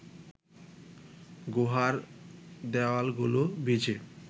গুহার দেওয়ালগুলো ভিজে